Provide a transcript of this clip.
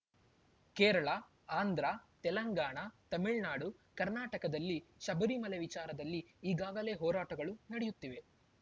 ಕೇರಳ ಆಂಧ್ರ ತೆಲಂಗಾಣ ತಮಿಳ್ನಾಡು ಕರ್ನಾಟಕದಲ್ಲಿ ಶಬರಿಮಲೆ ವಿಚಾರದಲ್ಲಿ ಈಗಾಗಲೇ ಹೋರಾಟಗಳು ನಡೆಯುತ್ತಿವೆ